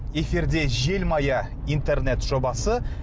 эфирде желмая интернет жобасы